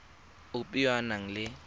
ope yo o nang le